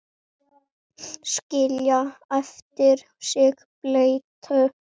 Skilja eftir sig bleytu.